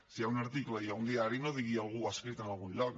si hi ha un article i hi ha un diari no digui algú ho ha escrit en algun lloc